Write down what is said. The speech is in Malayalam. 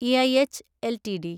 E I H LTD